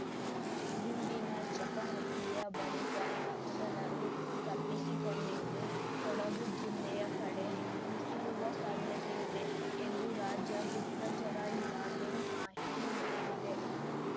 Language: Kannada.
ಗುಂಡಿನ ಚಕಮಕಿಯ ಬಳಿಕ ನಕ್ಸಲರು ತಪ್ಪಿಸಿಕೊಂಡಿದ್ದು ಕೊಡಗು ಜಿಲ್ಲೆಯ ಕಡೆ ನುಸುಳುವ ಸಾಧ್ಯತೆಯಿದೆ ಎಂದು ರಾಜ್ಯ ಗುಪ್ತಚರ ಇಲಾಖೆ ಮಾಹಿತಿ ನೀಡಿದೆ